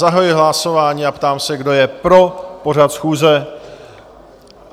Zahajuji hlasování a ptám se, kdo je pro pořad schůze?